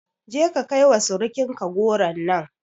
Je ka kai wa surukin ka goron nan